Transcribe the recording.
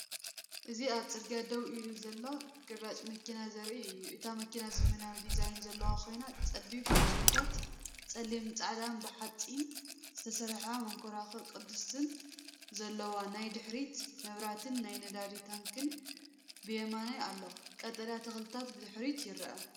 እዚ ኣብ ጽርግያ ደው ኢላ ዘላ ግራጭ መኪና ዘርኢ እዩ። እታ መኪና ዘመናዊ ዲዛይን ዘለዋ ኮይና፡ ጸቢብ መስኮታታን ጸሊምን ጻዕዳን ብሓጺን ዝተሰርሐ መንኮርኮር ቅስትን ኣለዋ። ናይ ድሕሪት መብራህትን ናይ ነዳዲ ታንኪን ብየማን ኣሎ። ቀጠልያ ተኽልታትን ብድሕሪት ይርአ።